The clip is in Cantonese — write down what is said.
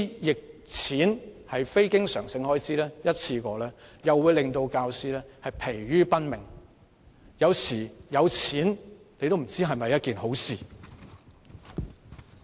這些非經常性開支和一次過撥款會令教師疲於奔命，所以有時候也不知道有錢是否一件好事。